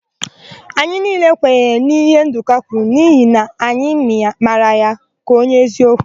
Anyị niile kwenyere na íhé Ndụka kwuru n'ihi na anyị mara ya ka onye eziokwu.